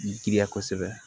Giriya kosɛbɛ